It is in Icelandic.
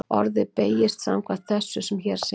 Orðið beygist samkvæmt þessu sem hér segir: